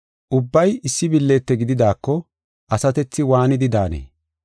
Ubbay issi billite gididaako asatethi waanidi daanee?